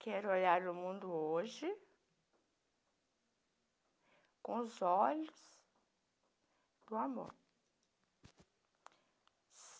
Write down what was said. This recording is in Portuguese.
Quero olhar o mundo hoje com os olhos do amor.